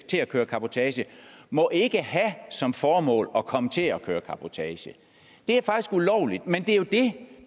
til at køre cabotage må ikke have som formål at komme til at køre cabotage det er faktisk ulovligt men det er jo det